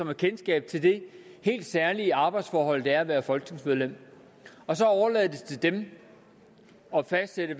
har kendskab til det helt særlige arbejdsforhold det er at være folketingsmedlem så overlader man det til dem at fastsætte